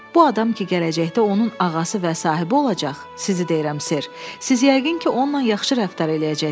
Bu adam ki, gələcəkdə onun ağası və sahibi olacaq, sizi deyirəm, ser, siz yəqin ki, onunla yaxşı rəftar eləyəcəksiz.